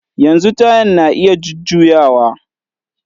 Yanzu tayan na iya jujjuyawa